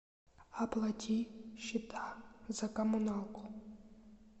оплати счета за коммуналку